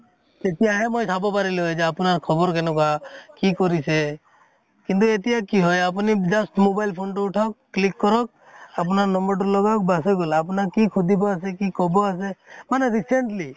তেতিয়াহে মই চাব পাৰিলো হয় যে আপোনাৰ খবৰ কেনেকুৱা, কি কৰিছে । কিন্তু এতিয়া কি হয় আপুনি just mobile phone টো উঠাওক click কৰক আপোনাৰ নম্বৰটো লগাওক বাচ হৈ গʼল । আপোনাক কি সুধিব আছে কি কʼব আছে মানে recently